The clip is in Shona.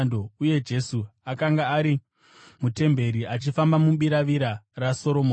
uye Jesu akanga ari mutemberi achifamba mubiravira raSoromoni.